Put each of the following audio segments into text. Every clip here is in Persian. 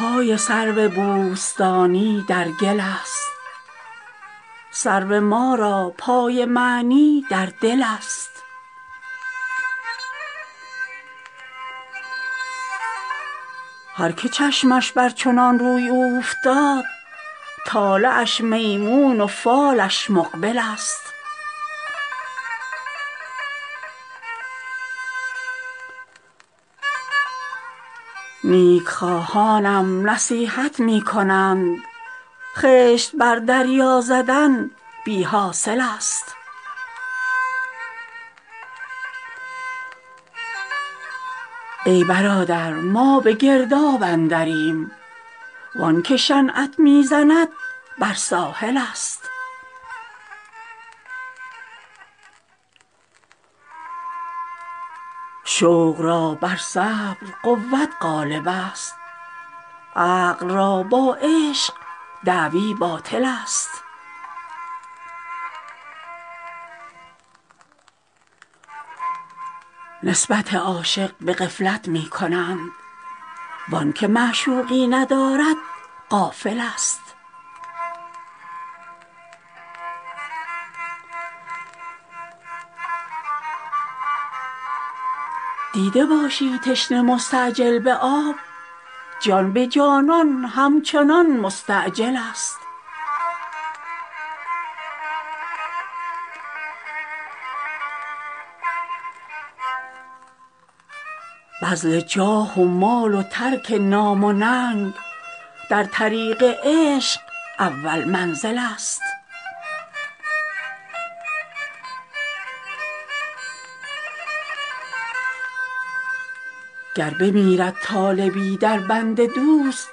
پای سرو بوستانی در گل است سرو ما را پای معنی در دل است هر که چشمش بر چنان روی اوفتاد طالعش میمون و فالش مقبل است نیک خواهانم نصیحت می کنند خشت بر دریا زدن بی حاصل است ای برادر ما به گرداب اندریم وان که شنعت می زند بر ساحل است شوق را بر صبر قوت غالب است عقل را با عشق دعوی باطل است نسبت عاشق به غفلت می کنند وآن که معشوقی ندارد غافل است دیده باشی تشنه مستعجل به آب جان به جانان همچنان مستعجل است بذل جاه و مال و ترک نام و ننگ در طریق عشق اول منزل است گر بمیرد طالبی در بند دوست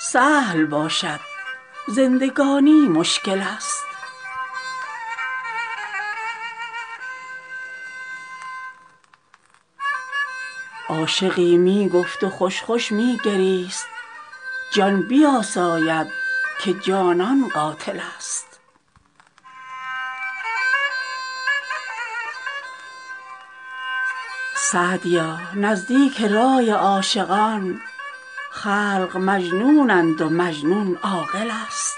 سهل باشد زندگانی مشکل است عاشقی می گفت و خوش خوش می گریست جان بیاساید که جانان قاتل است سعدیا نزدیک رای عاشقان خلق مجنونند و مجنون عاقل است